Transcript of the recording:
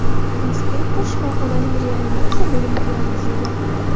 Inspektor shifoxonaning reanimatsiya bo‘limiga yotqizilgan.